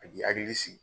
A k'i hakili sigi